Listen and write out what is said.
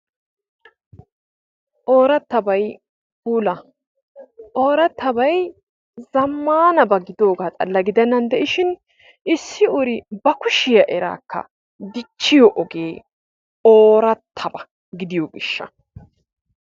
Oorattabay puula. Oorattabay zammaanaba gidiyoogaa xalla gidennan de'ishin issi uri ba kushiya eraakka dichchiyo ogee oorattaba gidiyo gishsha.